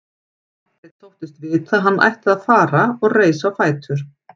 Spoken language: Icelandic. Marteinn þóttist vita að hann ætti að fara og reis á fætur.